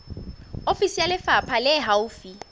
ofisi ya lefapha le haufi